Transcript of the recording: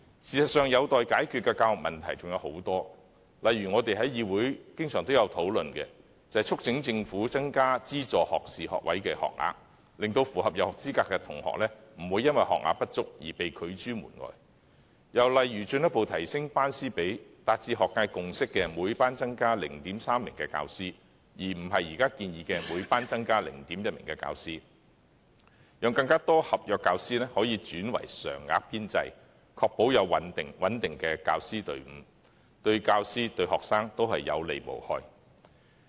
事實上，有待解決的教育問題尚有很多，例如我們在議會經常也有討論的，就是促請政府增加資助學士學位學額，令符合入學資格的學生不會因學額不足而被拒諸門外；又例如進一步提升班師比例，達至學界共識的每班增加 0.3 名教師，而不是現時建議的每班增加 0.1 名教師，讓更多合約教師可以轉為常額編制，確保有穩定的教師團隊，這對教師、對學生同樣有利無害。